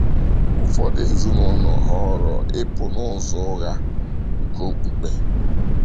Ụfọdụ ezinụlọ họọrọ ịpụ n’ụzọ ụgha nke okpukpe.